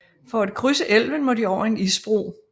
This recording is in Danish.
For at krydse elven må de over en isbro